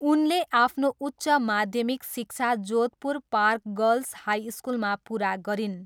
उनले आफ्नो उच्च माध्यमिक शिक्षा जोधपुर पार्क गर्ल्स हाई स्कुलमा पुरा गरिन्।